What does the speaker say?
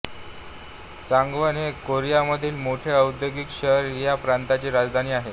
Changwon हे कोरियामधील मोठे औद्योगिक शहर ह्या प्रांतची राजधानी आहे